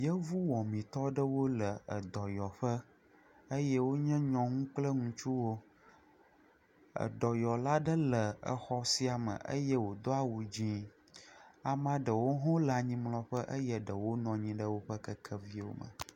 Yevu wɔmitɔ ɖewo le edɔyɔ ƒe eye wonye nyɔnu kple ŋutsuwo, edɔyɔla ɖe le exɔ sia me eye wòdo awu dzɛ̃, ame aɖewo hã wole anyimlɔƒe eye ɖewpo hã nɔ anyi ɖe woƒe kekewo me.